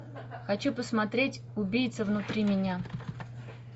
хочу посмотреть убийца внутри меня